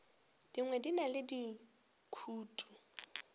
dingwe di na le dikutu